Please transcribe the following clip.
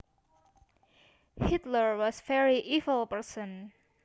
Hitler was a very evil person